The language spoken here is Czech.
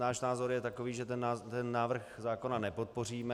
Náš názor je takový, že my ten návrh zákona nepodpoříme.